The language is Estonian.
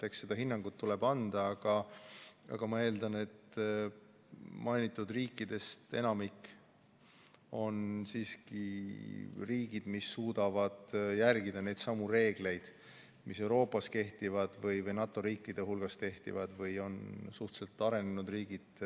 Eks see hinnang tuleb anda, aga ma eeldan, et mainitud riikidest enamik on siiski riigid, mis suudavad järgida neidsamu reegleid, mis Euroopas või NATO riikide hulgas kehtivad ja mis on majanduslikus mõttes suhteliselt arenenud riigid.